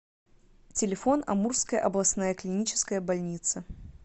телефон амурская областная клиническая больница